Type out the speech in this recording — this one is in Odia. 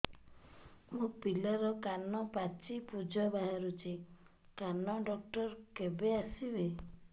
ମୋ ପିଲାର କାନ ପାଚି ପୂଜ ବାହାରୁଚି କାନ ଡକ୍ଟର କେବେ ଆସିବେ